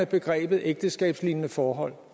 begrebet ægteskabslignende forhold